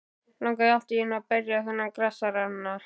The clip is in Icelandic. Langaði allt í einu til að berja þennan grasasna.